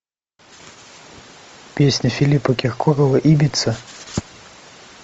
песня филиппа киркорова ибица